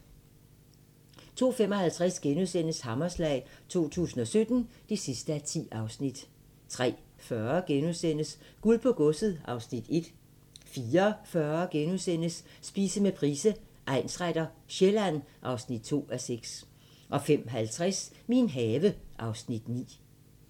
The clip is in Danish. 02:55: Hammerslag 2017 (10:10)* 03:40: Guld på godset (Afs. 1)* 04:40: Spise med Price, egnsretter: Sjælland (2:6)* 05:50: Min have (Afs. 9)